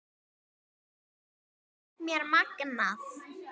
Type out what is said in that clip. Þetta finnst mér magnað.